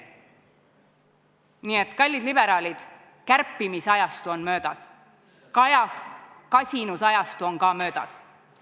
Nii et, kallid liberaalid, kärpimisajastu on möödas, kasinusajastu on ka möödas.